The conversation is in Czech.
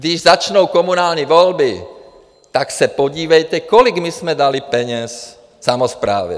Když začnou komunální volby, tak se podívejte, kolik my jsme dali peněz samosprávě.